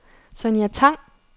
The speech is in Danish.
Sonja Tang